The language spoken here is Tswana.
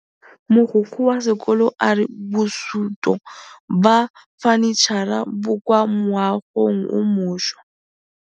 Mogokgo wa sekolo a re bosutô ba fanitšhara bo kwa moagong o mošwa.